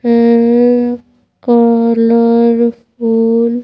um colour phone --